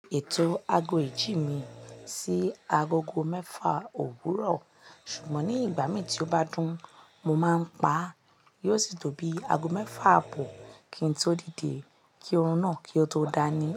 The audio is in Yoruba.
Ètò ago ìjí mi sí agogo mẹ́fà òwúrọ̀, ṣùgbọ́n ní ìgbà míì tí ó bá dún, mo máa ń pa á. Yóò sì tó bíi ago mẹ́fà àbò kí n tó dìde kí orun náà kí ó tó dá ní.